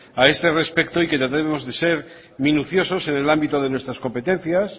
a este respecto y que tratemos de ser minuciosos en el ámbito de nuestras competencias